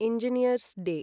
Engineer's day